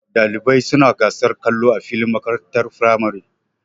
Ɗalibai suna gasar kallo a filin makarantar firamare.